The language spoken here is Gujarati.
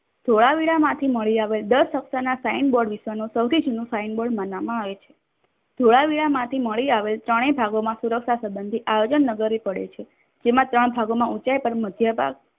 ધોળાવીરા માંથી મળી આવેલ દસ અક્ષર ના સાઈનબોર્ડ વિશેનો સૌથી જૂનો સાઈનબોર્ડ માનવામાં આવે છે. ધોળાવીરામાંથી મળી આવેલ ત્રણેય ભાગોમાં સુરક્ષા સબંધી આવેલ આયોજન નગર પડે છે જેમાં ત્રણ ભાગોમાં ઊંચાઈ પર મધ્યભાગ